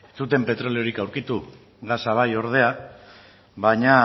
ez zuten petroliorik aurkitu gasa bai ordea baina